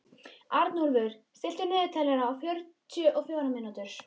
Arnúlfur, stilltu niðurteljara á fjörutíu og fjórar mínútur.